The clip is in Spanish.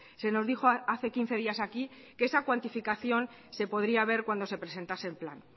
se nos dijo hace quince días aquí que esa cuantificación se podría ver cuando se presentase el plan